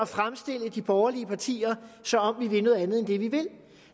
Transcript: fremstille de borgerlige partier som om vi vil noget andet end det vi vil